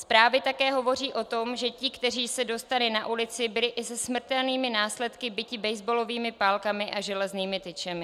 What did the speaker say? Zprávy také hovoří o tom, že ti, kteří se dostali na ulici, byli i se smrtelnými následky biti basebalovými pálkami a železnými tyčemi.